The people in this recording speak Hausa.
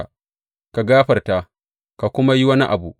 Ka gafarta, ka kuma yi wani abu.